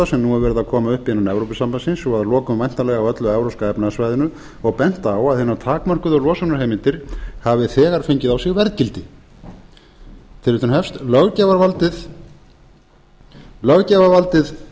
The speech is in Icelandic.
sem nú er verið að koma upp innan evrópusambandsins og að lokum væntanlega á öllu evrópska efnahagssvæðinu og bent á að hinar takmörkuðu losunarheimildir hafi þegar fengið á sig verðgildi löggjafarvaldið